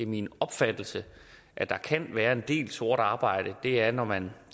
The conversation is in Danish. min opfattelse kan være en del sort arbejde er når man